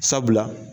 Sabula